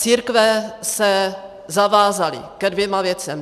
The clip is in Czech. Církve se zavázaly ke dvěma věcem.